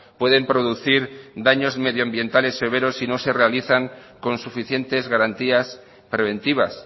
pueden producir daños medioambientales severos si no se realizan con suficientes garantías preventivas